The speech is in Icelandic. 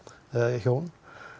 hjón